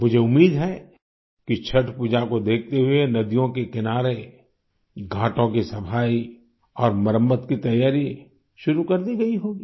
मुझे उम्मीद है कि छठ पूजा को देखते हुए नदियों के किनारे घाटों की सफाई और मरम्मत की तैयारी शुरू कर दी गई होगी